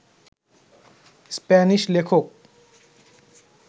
Spanish লেখক